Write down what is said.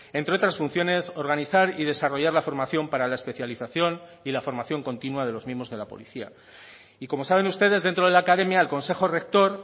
entre otras funciones organizar y desarrollar la formación para la especialización y la formación continua de los miembros de la policía y como saben ustedes dentro de la academia el consejo rector